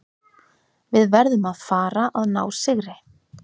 Við verðum að fara að ná sigri.